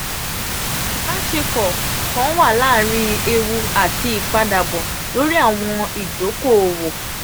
ibaṣepọ̀ um kan wa laarin ewu ati ipadabọ lori awọn idoko-owo.